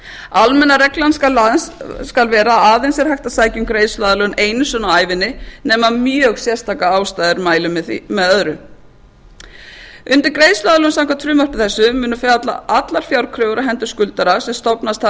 almenna reglan skal vera að aðeins er hægt að sækja um greiðsluaðlögun einu sinni á ævinni nema mjög sérstakar aðstæður mæli með öðru undir greiðsluaðlögun samkvæmt frumvarpi þessu munu falla allar fjárkröfur á hendur skuldara sem stofnast hafa